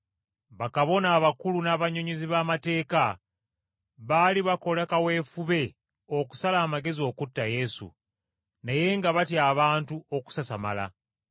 Bakabona abakulu n’abannyonnyozi b’amateeka baali bakola kaweefube okusala amagezi okutta Yesu, naye nga batya abantu okusasamala.